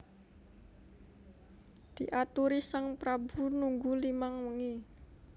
Diaturi sang prabu nunggu limang wengi